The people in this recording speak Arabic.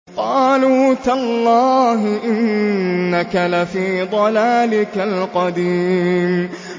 قَالُوا تَاللَّهِ إِنَّكَ لَفِي ضَلَالِكَ الْقَدِيمِ